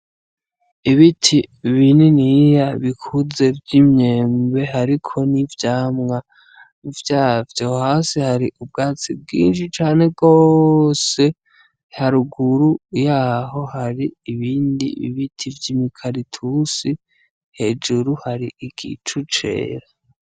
Ibiti bininiya bikuze vy'imyembe hariko n'ivyamwa vyavyo. Hasi hari ubwatsi bwinshi cane gose, haruguru yaho hari ibindi biti vy'imikaratusi, hejuru hari igicu cera.